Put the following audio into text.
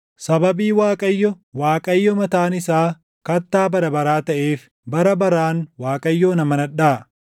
Sababii Waaqayyo, Waaqayyo mataan isaa, Kattaa bara baraa taʼeef, bara baraan Waaqayyoon amanadhaa.